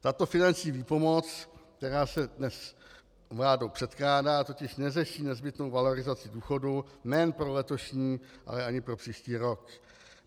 Tato finanční výpomoc, která se dnes vládou předkládá, totiž neřeší nezbytnou valorizaci důchodů nejen pro letošní, ale ani pro příští rok.